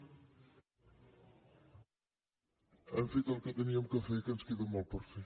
hem fet el que havíem de fer i que ens queda molt per fer